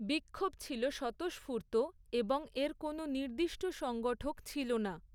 বিক্ষোভ ছিল স্বতঃস্ফূর্ত, এবং এর কোনো নির্দিষ্ট সংগঠক ছিল না।